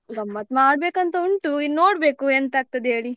ಗಮ್ಮತ್ ಮಾಡ್ಬೇಕ್ ಅಂತ ಉಂಟು ಇನ್ನು ನೋಡ್ಬೇಕು ಎಂತ ಆಗ್ತದೆ ಹೇಳಿ.